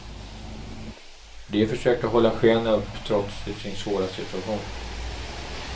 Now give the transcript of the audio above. De försöker hålla skenet upp trots sin svåra situation.